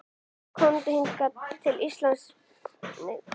Komi hingað til lands með allt sitt?